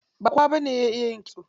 Ba kowa bane ya iya kitso.